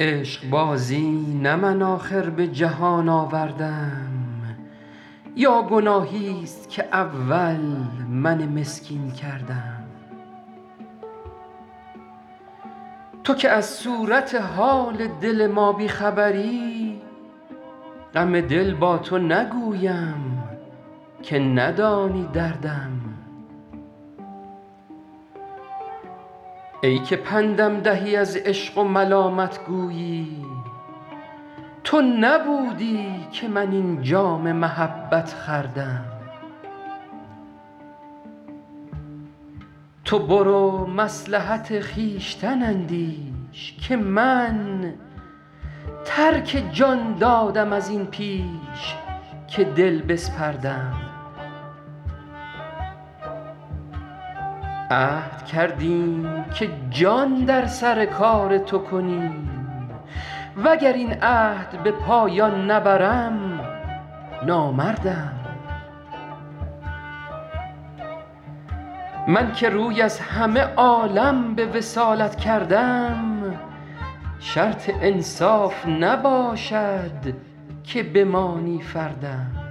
عشقبازی نه من آخر به جهان آوردم یا گناهیست که اول من مسکین کردم تو که از صورت حال دل ما بی خبری غم دل با تو نگویم که ندانی دردم ای که پندم دهی از عشق و ملامت گویی تو نبودی که من این جام محبت خوردم تو برو مصلحت خویشتن اندیش که من ترک جان دادم از این پیش که دل بسپردم عهد کردیم که جان در سر کار تو کنیم و گر این عهد به پایان نبرم نامردم من که روی از همه عالم به وصالت کردم شرط انصاف نباشد که بمانی فردم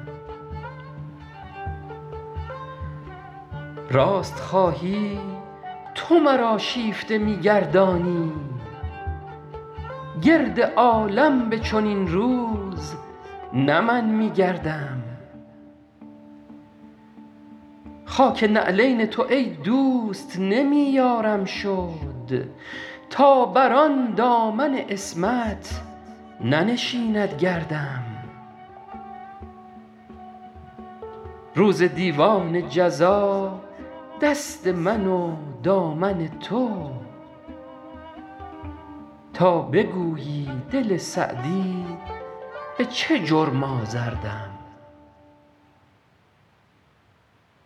راست خواهی تو مرا شیفته می گردانی گرد عالم به چنین روز نه من می گردم خاک نعلین تو ای دوست نمی یارم شد تا بر آن دامن عصمت ننشیند گردم روز دیوان جزا دست من و دامن تو تا بگویی دل سعدی به چه جرم آزردم